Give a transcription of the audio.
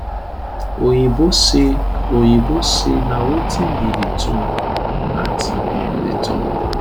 oyinbo say oyinbo say na wetin be di tone at um di top